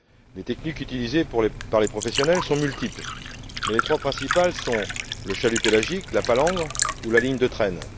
Les techniques utilisées par les professionnels sont multiples, mais les trois principales sont le chalut pélagique, la palangre ou la ligne de traîne